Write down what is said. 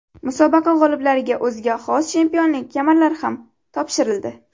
Musobaqa g‘oliblariga o‘ziga xos chempionlik kamarlari ham topshirildi.